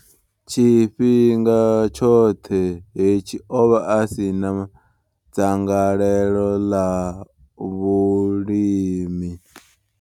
Tshifhinga tshoṱhe hetshi, o vha a si na dzangalelo ḽa vhulimi.